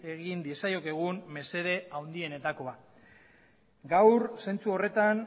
egin diezaiokegun mesede handienetakoa gaur zentzu horretan